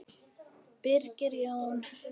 Birgir Jón.